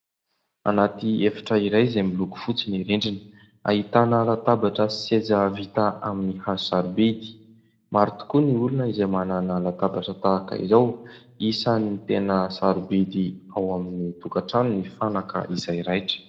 Anatỳ efitra iray izay miloko fotsy ny rindrina, ahitana latabatra sy seza vita amin'ny hazo sarobidy maro tokoa ny olona izay manana latabatra tahaka izao; isan'ny tena sarobidy ao amin'ny tokatrano ny fanaka izay raitra.